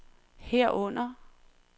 herunder